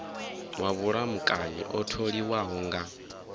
wa vhulamukanyi o tholiwaho nga